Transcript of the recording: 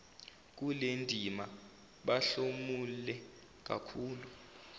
kulendima bahlomule kakhulu